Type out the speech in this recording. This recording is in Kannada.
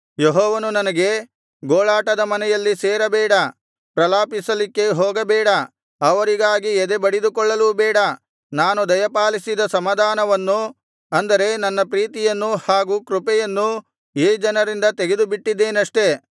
ಯೆಹೋವನು ನನಗೆ ಗೋಳಾಟದ ಮನೆಯಲ್ಲಿ ಸೇರಬೇಡ ಪ್ರಲಾಪಿಸಲಿಕ್ಕೆ ಹೋಗಬೇಡ ಅವರಿಗಾಗಿ ಎದೆ ಬಡಿದುಕೊಳ್ಳಲೂ ಬೇಡ ನಾನು ದಯಪಾಲಿಸಿದ ಸಮಾಧಾನವನ್ನು ಅಂದರೆ ನನ್ನ ಪ್ರೀತಿಯನ್ನೂ ಹಾಗು ಕೃಪೆಯನ್ನೂ ಈ ಜನರಿಂದ ತೆಗೆದುಬಿಟ್ಟಿದ್ದೇನಷ್ಟೆ